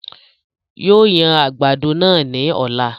Yóò yan àgbàdo náà ní ọ̀la